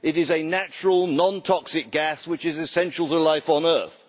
It is a natural non toxic gas which is essential to life on earth.